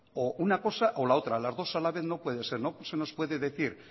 o una cosa o la otra las dos a la vez no puede ser usted nos puede decir